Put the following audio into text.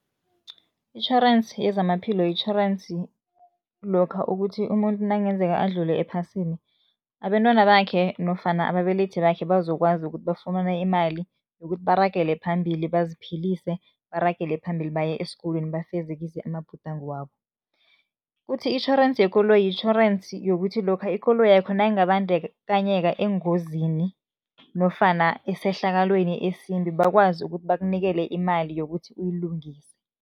Itjhorensi yezamaphilo yitjhorensi lokha ukuthi umuntu nakungenzeka adlule ephasini, abentwana bakhe nofana ababelethi bakhe bazokwazi ukuthi bafumane imali yokuthi baragele phambili baziphilise, baragele phambili baye esikolweni, bafezekise amabhudango wabo. Kuthi itjhorensi yekoloyi, yitjhorensi yokuthi lokha ikoloyakho nayingabandakanyeka engozini nofana esehlakalweni esimbi, bakwazi ukuthi bakunikele imali yokuthi uyilungise.